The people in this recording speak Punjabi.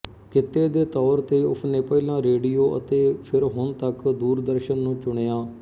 ਕਿੱਤੇ ਦੇ ਤੌਰ ਤੇ ਉਸਨੇ ਪਹਿਲਾਂ ਰੇਡੀਉ ਅਤੇ ਫਿਰ ਹੁਣ ਤੱਕ ਦੂਰਦਰਸ਼ਨ ਨੂੰ ਚੁਣਿਆ